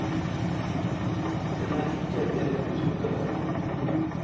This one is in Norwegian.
Den er ikke det du trodde den var.